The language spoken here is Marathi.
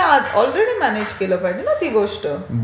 तर तुम्ही ऑलरेडी म्यानेज केलं पाहिजे ना ती गोष्ट.